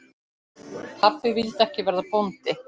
Pabbi vildi ekki verða bóndi.